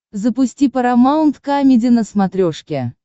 запусти парамаунт камеди на смотрешке